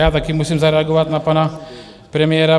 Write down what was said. Já taky musím zareagovat na pana premiéra.